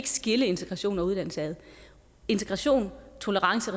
skille integration og uddannelse ad integration tolerance